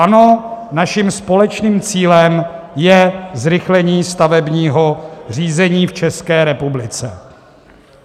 Ano, naším společným cílem je zrychlení stavebního řízení v České republice.